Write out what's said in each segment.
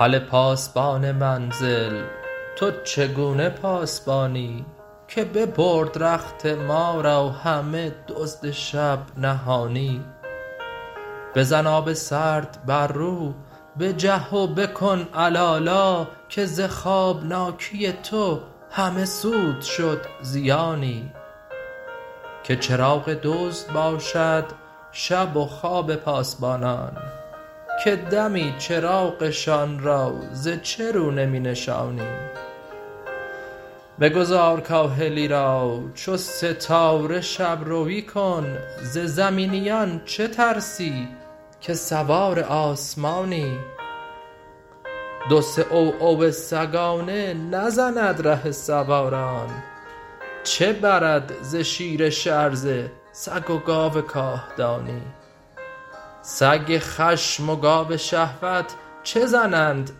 هله پاسبان منزل تو چگونه پاسبانی که ببرد رخت ما را همه دزد شب نهانی بزن آب سرد بر رو بجه و بکن علالا که ز خوابناکی تو همه سود شد زیانی که چراغ دزد باشد شب و خواب پاسبانان به دمی چراغشان را ز چه رو نمی نشانی بگذار کاهلی را چو ستاره شب روی کن ز زمینیان چه ترسی که سوار آسمانی دو سه عوعو سگانه نزند ره سواران چه برد ز شیر شرزه سگ و گاو کاهدانی سگ خشم و گاو شهوت چه زنند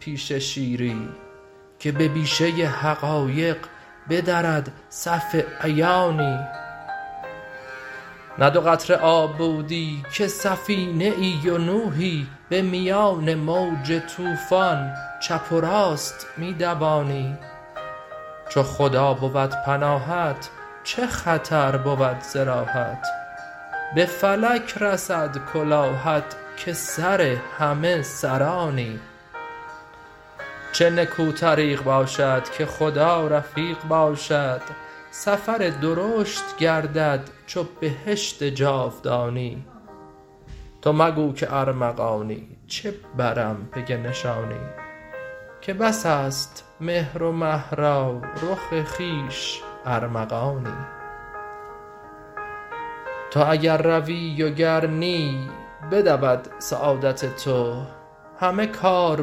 پیش شیری که به بیشه حقایق بدرد صف عیانی نه دو قطره آب بودی که سفینه ای و نوحی به میان موج طوفان چپ و راست می دوانی چو خدا بود پناهت چه خطر بود ز راهت به فلک رسد کلاهت که سر همه سرانی چه نکو طریق باشد که خدا رفیق باشد سفر درشت گردد چو بهشت جاودانی تو مگو که ارمغانی چه برم پی نشانی که بس است مهر و مه را رخ خویش ارمغانی تو اگر روی و گر نی بدود سعادت تو همه کار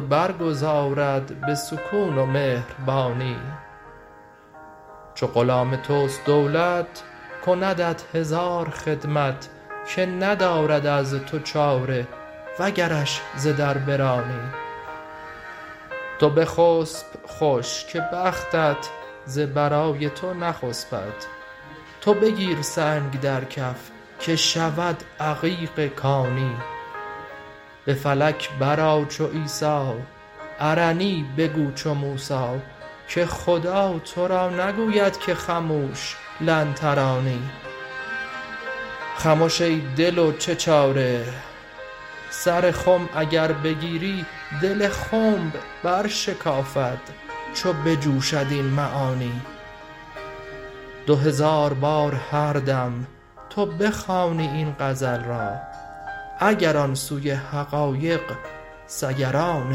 برگزارد به سکون و مهربانی چو غلام توست دولت کندت هزار خدمت که ندارد از تو چاره وگرش ز در برانی تو بخسپ خوش که بختت ز برای تو نخسپد تو بگیر سنگ در کف که شود عقیق کانی به فلک برآ چو عیسی ارنی بگو چو موسی که خدا تو را نگوید که خموش لن ترانی خمش ای دل و چه چاره سر خم اگر بگیری دل خنب برشکافد چو بجوشد این معانی دو هزار بار هر دم تو بخوانی این غزل را اگر آن سوی حقایق سیران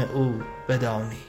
او بدانی